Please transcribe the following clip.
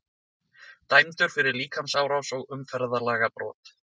Dæmdur fyrir líkamsárás og umferðarlagabrot